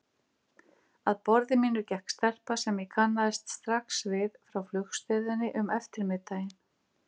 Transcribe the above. Að borði mínu gekk stelpa sem ég kannaðist strax við frá flugstöðinni um eftirmiðdaginn.